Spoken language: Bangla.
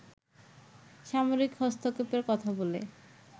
সামরিক হস্তক্ষেপের কথা বলে